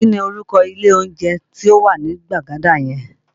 Kí ni orúkọ ilé oúnjẹ tí ó wà ní Gbagada yẹn?